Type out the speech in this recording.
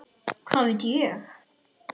Hvað veit ég?